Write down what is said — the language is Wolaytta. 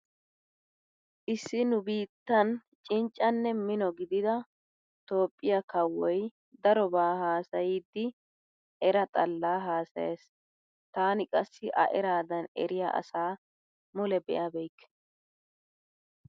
Issi nu biittan cinccanne mino gidida toophphiya kawoy daroba haasayiiddi era xallaa haasayees. Taani qassi A eraadan eriya asa mule be'abeykke.